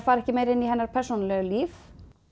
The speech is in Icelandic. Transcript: farið meira inn í hennar persónulega líf